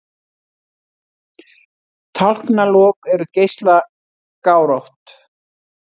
Tálknalok eru geislagárótt.